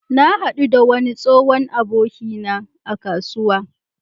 Na haɗu da wani tsohon abokina a kasuwa.